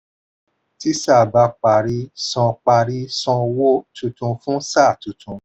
tí sáà bá parí san parí san owó tuntun fún sáà tuntun.